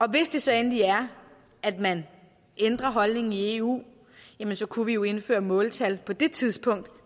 hvis det så endelig er at man ændrer holdning i eu så kunne vi jo indføre måltal på det tidspunkt